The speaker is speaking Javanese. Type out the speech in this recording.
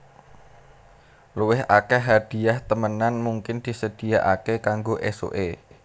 Luwih akèh hadhiah temenan mungkin disedhiyakaké kanggo ésuké